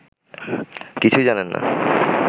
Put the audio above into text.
কিছুই জানেন না